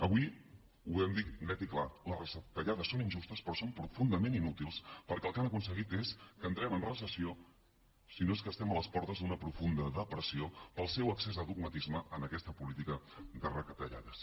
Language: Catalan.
avui ho volem dir net i clar les retallades són injustes però són profundament inútils perquè el que han aconseguit és que entrem en recessió si no és que estem a les portes d’una profunda depressió pel seu excés de dogmatisme en aquesta política de retallades